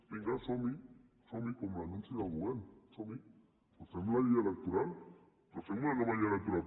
vinga som hi somhi com l’anunci del govern som hi però fem la llei electoral però fem una nova llei electoral